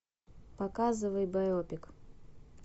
показывай байопик